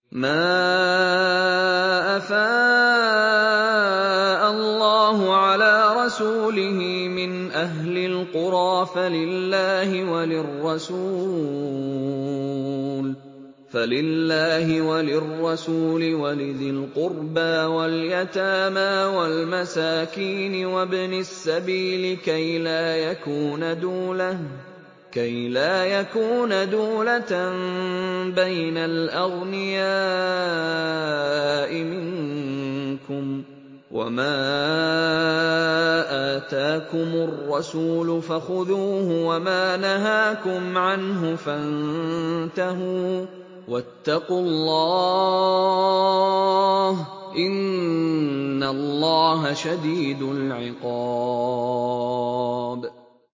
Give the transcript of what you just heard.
مَّا أَفَاءَ اللَّهُ عَلَىٰ رَسُولِهِ مِنْ أَهْلِ الْقُرَىٰ فَلِلَّهِ وَلِلرَّسُولِ وَلِذِي الْقُرْبَىٰ وَالْيَتَامَىٰ وَالْمَسَاكِينِ وَابْنِ السَّبِيلِ كَيْ لَا يَكُونَ دُولَةً بَيْنَ الْأَغْنِيَاءِ مِنكُمْ ۚ وَمَا آتَاكُمُ الرَّسُولُ فَخُذُوهُ وَمَا نَهَاكُمْ عَنْهُ فَانتَهُوا ۚ وَاتَّقُوا اللَّهَ ۖ إِنَّ اللَّهَ شَدِيدُ الْعِقَابِ